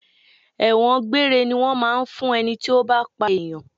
Ẹ̀wọ̀n gbére ni wọn máa ń fún ẹni tí ó bá pa ènìyàn.